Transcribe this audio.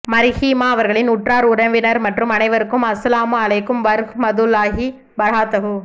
மர்ஹூமா அவர்களின் உற்றார் உறவினர் மற்றும் அனைவருக்கும் அஸ்ஸலாமு அலைக்கும் வரஹ்மதுல்லாஹி வ பரகாதுஹு